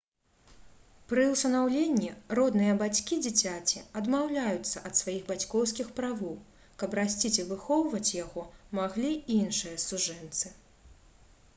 пры ўсынаўленні родныя бацькі дзіцяці адмаўляюцца ад сваіх бацькоўскіх правоў каб расціць і выхоўваць яго маглі іншыя сужэнцы